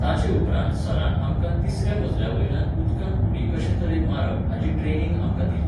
ताचे उपरांत सरान आमकां तिसऱ्या मजल्या वयल्यान उदकांत उडी कशे तरेन मारप हाची ट्रॅनिंग आमकां दिली.